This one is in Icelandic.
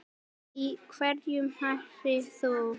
Í hverju mætir þú?